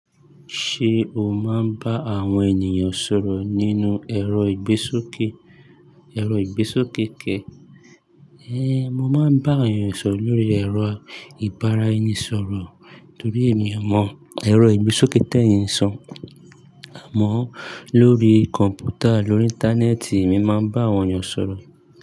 Ṣé o máa ń bá àwọn ènìyàn sọ̀rọ̀ nínú ẹ̀rọ ìgbésókè, ẹ̀rọ ìgbésókè kẹ̀? Ée, mo máa ń bá àwọn ènìyàn sọ̀rọ̀ lórí ẹ̀rọ ìbara-ẹni-sọ̀rọ̀ torí èmi ò mọ ẹ̀rọ ìgbésókè tẹ̀yìn san. Àmọ́, lórí kọ̀m̀pútà lórí Íńtánẹ́ẹ̀tì, èmi máa ń bá àwọn ènìyàn sọ̀rọ̀